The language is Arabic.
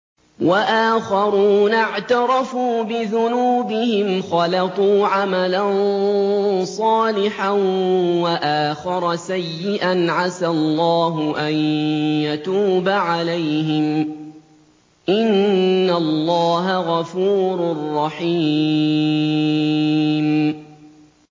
وَآخَرُونَ اعْتَرَفُوا بِذُنُوبِهِمْ خَلَطُوا عَمَلًا صَالِحًا وَآخَرَ سَيِّئًا عَسَى اللَّهُ أَن يَتُوبَ عَلَيْهِمْ ۚ إِنَّ اللَّهَ غَفُورٌ رَّحِيمٌ